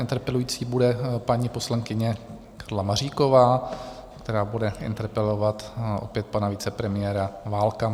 Interpelující bude paní poslankyně Karla Maříková, která bude interpelovat opět pana vicepremiéra Válka.